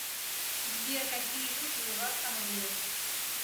сбер какие люди у вас там рулят